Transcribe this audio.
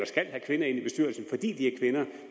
skal have kvinder ind i bestyrelsen fordi de er kvinder